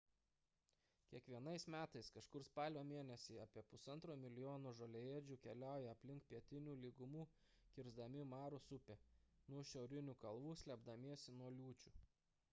kiekvienais metais kažkur spalio mėnesį apie 1,5 mln žoliaėdžių keliauja link pietinių lygumų kisrdami maros upę nuo šiaurinių kalvų slėpdamiesi nuo liūčių